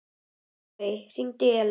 Baui, hringdu í Ellu.